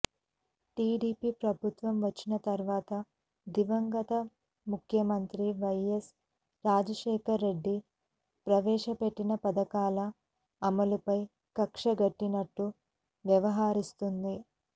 TDP ప్రభుత్వం వచ్చిన తర్వాత దివంగత ముఖ్యమంత్రి వైఎస్ రాజశేఖరరెడ్డి ప్రవేశ పెట్టిన పథకాల అమలుపై కక్షగట్టినట్లు వ్యవహరిస్తోంది